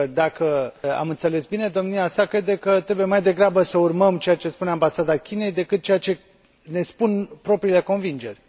Pentru că, dacă am înțeles bine, domnia sa crede că trebuie mai degrabă să urmăm ceea ce spune Ambasada Chinei, decât ceea ce ne spun propriile convingeri.